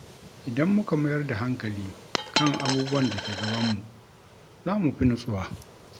Idan muka mayar da hankali kan abubuwan da ke gabanmu, za mu fi nutsuwa.